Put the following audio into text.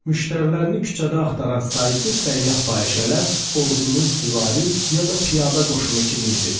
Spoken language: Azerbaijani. Müştərilərini küçədə axtaran saysız səyyah fahişələr ordunun süvari, ya da piyada qoşunu kimi idi.